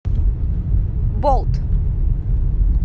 болт